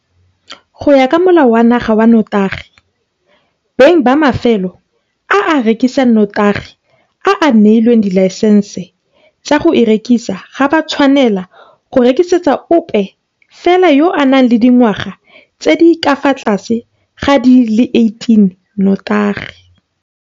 Go ya ka Molao wa Naga wa Notagi, beng ba mafelo a a rekisang notagi a a neilweng dilaesense tsa go e rekisa ga ba tshwanela go rekisetsa ope fela yo a nang le dingwaga tse di ka fa tlase ga di le 18 notagi.